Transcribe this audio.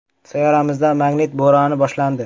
Sayyoramizda magnit bo‘roni boshlandi.